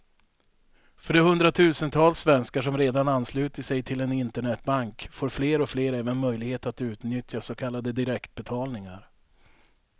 För de hundratusentals svenskar som redan anslutit sig till en internetbank får fler och fler även möjlighet att utnyttja så kallade direktbetalningar.